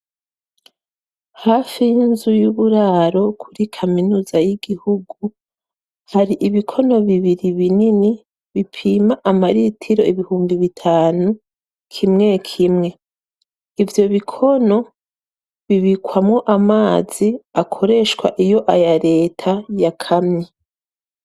Hafi n’inzu y’uburaro kuri kaminuza y’igihugu hari bibiri binini bipoma amaritiro ibihumbi bitanu kimwe kimwe, ivyo bikono bibikwamwo amazi akoreshwa iyo aya leta yakamye.